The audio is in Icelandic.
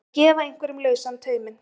Að gefa einhverjum lausan tauminn